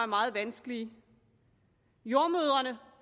meget vanskelige jordemødrene